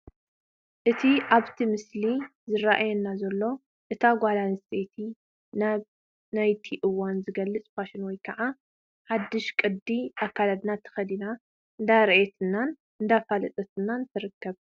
እቲ ኣብቲ ምስሊ ዝራኣየና ዘሎ እታ ጓል ኣነስተይቲ ናይቲ እዋን ዝገልፅ ፋሽን ወይ ከዓ ሓዱሽ ቅዲ ኣከዳድና ተኸዲና እንዳርኣየትን እንዳፋለጠትን ትርከብ፡፡